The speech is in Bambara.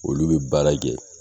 Olu bɛ baara kɛ.